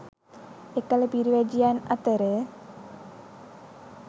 එකල පිරිවැජියන් අතර